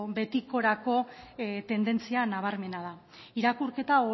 betikorako tendentzia nabarmena da irakurketa